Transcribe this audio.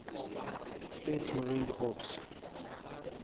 states marine corps